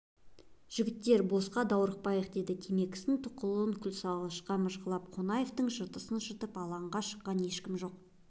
жігіттер босқа даурықпайық деді темекісінің тұқылын күлсалғышқа мыжғылап қонаевтың жыртысын жыртып алаңға шыққан ешкім жоқ